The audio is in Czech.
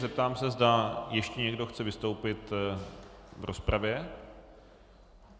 Zeptám se, zda ještě někdo chce vystoupit v rozpravě.